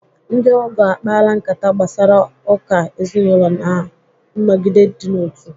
Ndị ogo akpala nkata gbasara uka ezinụlọ ma nọgide idị n'otu.